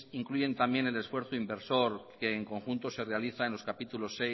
incluyen también en el esfuerzo inversor que en conjuntos se realiza en los capítulos